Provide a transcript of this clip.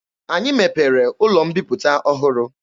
Anyị mepere ụlọ mbiputa ọhụrụ.